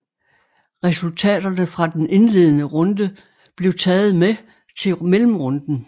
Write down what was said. Resultaterne fra den indledende runde blev taget med til mellemrunden